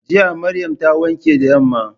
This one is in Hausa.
Jiya Maryam ta wanke da yamma.